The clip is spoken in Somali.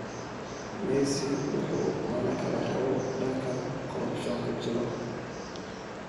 Messi wuxuu manakalaraboo dankan korrapshonka jiro.